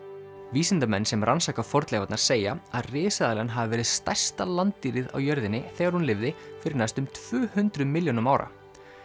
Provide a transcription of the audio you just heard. vísindamenn sem rannsaka fornleifarnar segja að risaeðlan hafi verið stærsta á jörðinni þegar hún lifði fyrir næstum tvö hundruð milljónum ára